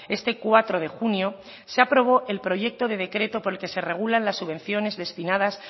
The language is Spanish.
este cuatro de junio se aprobó el proyecto de decreto por el que se regulan las subvenciones destinadas